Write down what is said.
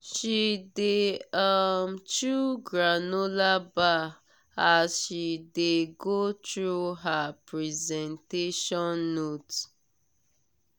she dey um chew granola bar as she dey go through her presentation note.